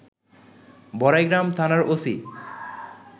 বড়াইগ্রাম থানার ওসি